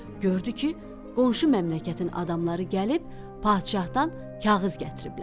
gördü ki, qonşu məmləkətin adamları gəlib padşahdan kağız gətiriblər.